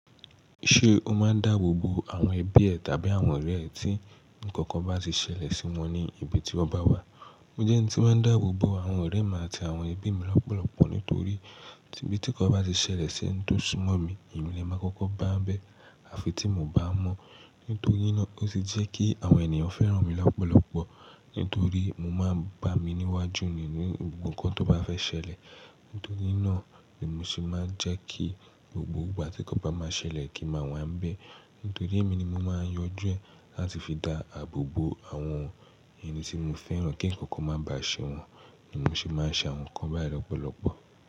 Ṣé o máa ń dáàbò bo àwọn ẹbí ẹ tàbí àwọn ọ̀rẹ́ ẹ tí ǹkankan bá ti ṣẹlẹ̀ sí wọn ní ibi tí ọ́ bá wà? Mo jẹ́ ẹni tí máa ń dáàbò bo àwọn ọ̀rẹ́ mi àti àwọn ẹbí mi lọ́pọ̀lọpọ̀ nítorí tí ibí tí ǹkan bá ti ṣẹlẹ̀ ṣi eń tò súnmọ́ mi, èmi ni ẹ máa kọ́kọ́ bá ń bẹ́ àfi tí mio bá mọ̀. Nítorí náà ó ṣe jẹ́ kí àwọn ènìyàn fẹ́ràn mi lọ́pọ̀lọpọ̀ nítorí mo máa ń bá mi níwájú nínú gbogbo ǹkan tó bá fẹ́ ṣẹlẹ̀. Nítorí náà ni mo ṣe máa ń jẹ́ kí gbogbo ìgbà tí ǹkan bá máa ṣẹlẹ̀ kí n máa wá ń bẹ́. Nítorí èmi ni mo máa yanjú ẹ láti fi dá àbò bo àwọn ẹni tí mo fẹ́ràn kí ǹkankan má bá ṣe wọ́n ni mo fi máa ń ṣe àwọn ǹkan báyì lọ́pọ̀lọpọ̀.